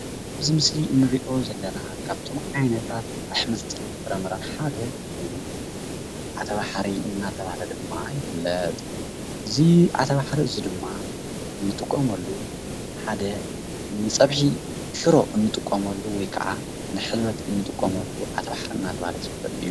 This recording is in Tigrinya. እዚ ምስሊ እንሪኦ ዘለና ካብቶም ዓይነታት ኣሕምልትን ፍራምረን ሓደ እዩ። ዓተባሕሪ እናተብሃለ ድማ ይፍለጥ። እዚ ዓተባሕሪ እዚ ድማ ንጥቀመሉ ሓደ ንፀብሒ ሽሮ እንጥቀመሉ ወይ ክዓ ንሕልበት እንጥቀመሉ ዓተባሕሪ እናተብሃለ ዝፍለጥ እዩ።